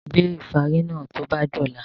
Gbé ìfárí náà tó bá dọ̀la!